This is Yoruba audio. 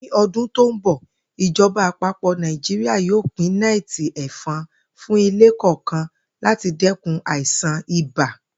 Ní o̩dún tó ń bò̩, ìjo̩ba àpapò̩ Naijiria yóò pín né̩è̩tì è̩fon fún ilé kò̩ò̩kan láti dé̩kun àìsàn ibà